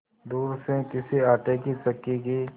दूर से किसी आटे की चक्की की